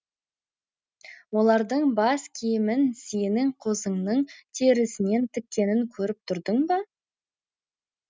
олардың бас киімін сенің қозыңның терісінен тіккенін көріп тұрдың ба